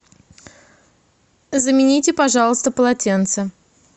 замените пожалуйста полотенце